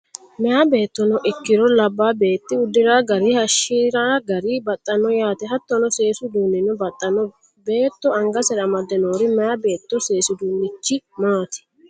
Meyaa beettono ikkiro labbaa beeti udira gari hayiishira gari baxxanno yaate hattono seesu uduunnino baxxano beetto angasera amadde noori meyaa beetto seesi uduunnichi maati?